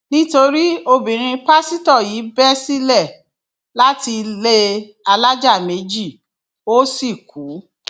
nítorí obìnrin pásítọ yìí bẹ sílẹ láti ilé alájà méjì ó sì kú